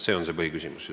See on põhiküsimus.